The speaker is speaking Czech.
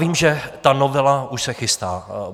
Vím, že ta novela už se chystá.